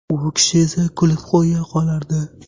U kishi esa kulib qo‘ya qolardi.